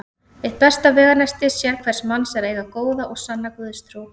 Eitt besta veganesti sérhvers manns er að eiga góða og sanna Guðstrú.